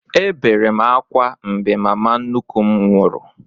M bere ákwá mgbe mama nnukwu m nwụrụ